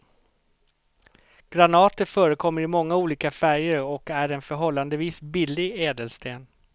Granater förekommer i många olika färger och är en förhållandevis billig ädelsten.